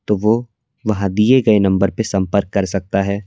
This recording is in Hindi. तो वह वहां दिए गए नंबर पे संपर्क कर सकता है।